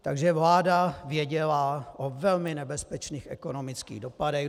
Takže vláda věděla o velmi nebezpečných ekonomických dopadech.